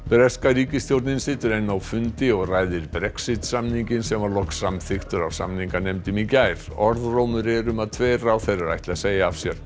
breska ríkisstjórnin situr enn á fundi og ræðir Brexit samninginn sem var loks samþykktur af samninganefnd í gær orðrómur er um að tveir ráðherrar ætli að segja af sér